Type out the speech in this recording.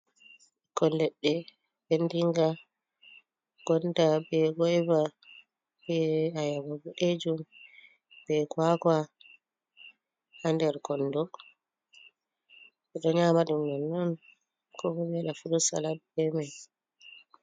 Ɓikkon leɗɗe ɓendinga, gonda, be goyva, ɓe ayaba boɗejum, be kwakwa ha nder kondo. Ɓeɗo nyamadum nonnon ko ɓewada furut salat be mai.